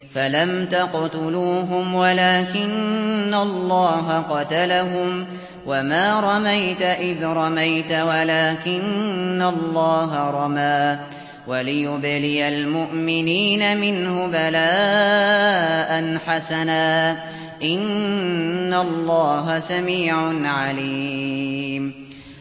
فَلَمْ تَقْتُلُوهُمْ وَلَٰكِنَّ اللَّهَ قَتَلَهُمْ ۚ وَمَا رَمَيْتَ إِذْ رَمَيْتَ وَلَٰكِنَّ اللَّهَ رَمَىٰ ۚ وَلِيُبْلِيَ الْمُؤْمِنِينَ مِنْهُ بَلَاءً حَسَنًا ۚ إِنَّ اللَّهَ سَمِيعٌ عَلِيمٌ